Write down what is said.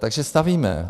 Takže stavíme.